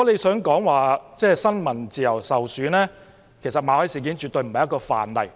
談到新聞自由受損，其實馬凱事件絕不是一個範例。